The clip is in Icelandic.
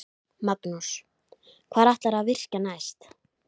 Magnús: Hvar ætlarðu að virkja næst?